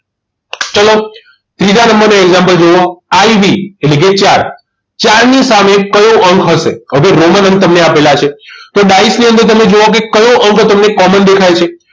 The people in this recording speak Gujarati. ચલો ત્રીજા નંબરનું example જોવો IV એટલે કે ચાર ચાર ની સામે કયો અંક હશે અહીં રોમન અંક તમને આપેલા છે તો ડાઈસ ની અંદર તમે જુઓ કયો અંક તમને common દેખાય છે